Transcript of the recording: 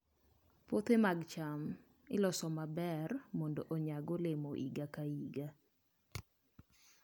Puothe mag cham iloso maber mondo onyag olemo mang'eny higa ka higa.